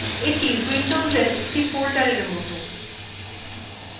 এইটি windowsএর একটি folders এর মতন